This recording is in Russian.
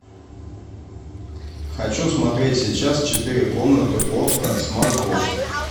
хочу смотреть сейчас четыре комнаты окко смарт бокс